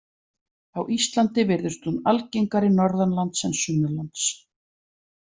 Á Íslandi virðist hún algengari norðanlands en sunnanlands.